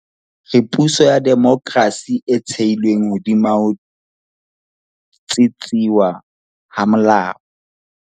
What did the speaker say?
Re puso ya demokrasi e thehilweng hodima ho tsitsiswa ha molao.